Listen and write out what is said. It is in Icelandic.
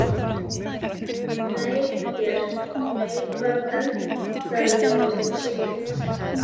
nei Börn: nei Hvað eldaðir þú síðast?